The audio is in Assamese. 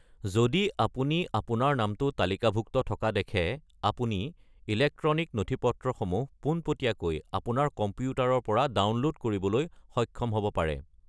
যদি আপুনি আপোনাৰ নামটো তালিকাভুক্ত থকা দেখে, আপুনি ইলেক্ট্ৰনিক নথিপত্ৰসমূহ পোনপটীয়াকৈ আপোনাৰ কম্পিউটাৰৰ পৰা ডাউনলোড কৰিবলৈ সক্ষম হ'ব পাৰে।